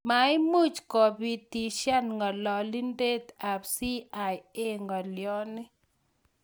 Maimuuch koitibitisyan ng'alalindet ab CIA ng'alyoni